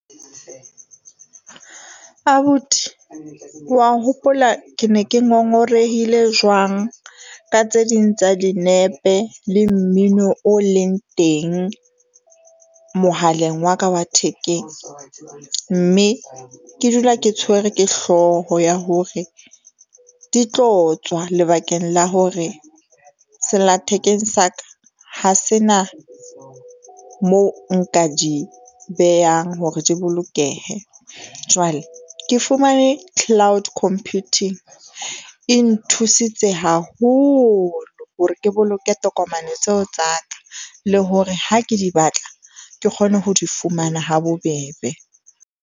Abuti wa hopola ke ne ke ngongorehile jwang ka tse ding tsa dinepe le mmino o leng teng mohaleng wa ka wa thekeng, mme ke dula ke tshwere ke hlooho ya hore di tlo tswa lebakeng la hore sella thekeng sa ka ha se na moo nka di behang hore di bolokehe. Jwale ke fumane cloud computing e nthusitse haholo hore ke boloke tokomane tseo tsa ka, le hore ha ke di batla ke kgone ho di fumana ha bobebe.